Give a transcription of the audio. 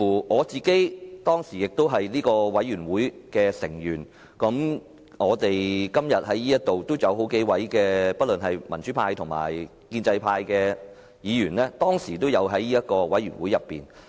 我當時也是這個專責委員會的委員，今天議會內數位民主派及建制派的議員當時也有參與這個專責委員會。